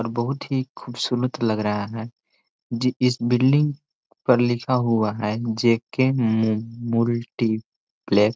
और बहुत ही खुबसूरत लग रहा है इस बिलडिंग पर लिखा हुआ है जे.के. Multiplex ----